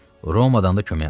Romadan da kömək aldı.